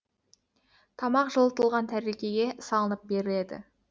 тамақ жылытылған тәрелкеге салынып беріледі